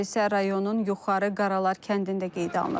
Hadisə rayonun Yuxarı Qaralar kəndində qeydə alınıb.